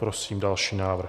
Prosím další návrh.